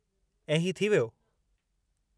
ऐं ही थी वियो?